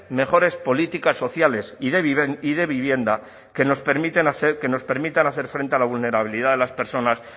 mejores políticas sociales y de vivienda que nos permitan hacer frente a la vulnerabilidad de las personas